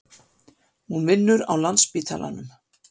Hún vinnur á Landspítalanum.